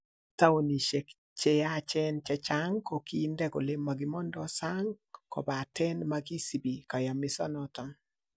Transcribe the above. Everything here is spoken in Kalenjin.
Taonisiek che yechen che chang ko kiinde kole mogimondoo sang kobaten mogisibi koyomisonoton.